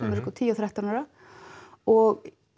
með tíu og þrettán ára dætrum og